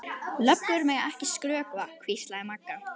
Löggur mega ekki skrökva, hvíslaði Magga.